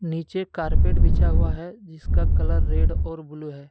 नीचे कारपेट बिछा हुआ है जिसका कलर रेड और ब्लू है।